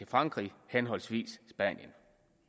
frankrig henholdsvis spanien